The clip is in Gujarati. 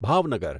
ભાવનગર